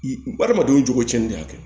Adamadenw jogocɛn de y'a kɛ